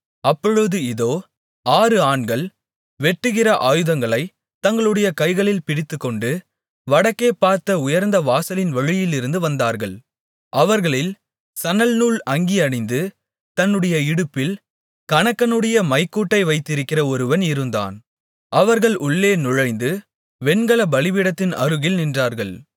அப்பொழுது இதோ ஆறு ஆண்கள் வெட்டுகிற ஆயுதங்களைத் தங்களுடைய கைகளில் பிடித்துக்கொண்டு வடக்கே பார்த்த உயர்ந்த வாசலின் வழியிலிருந்து வந்தார்கள் அவர்களில் சணல்நூல் அங்கி அணிந்து தன்னுடைய இடுப்பில் கணக்கனுடைய மைக்கூட்டை வைத்திருக்கிற ஒருவன் இருந்தான் அவர்கள் உள்ளே நுழைந்து வெண்கல பலிபீடத்தின் அருகில் நின்றார்கள்